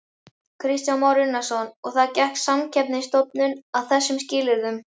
Kristján Már Unnarsson: Og gekk Samkeppnisstofnun að þessum skilyrðum?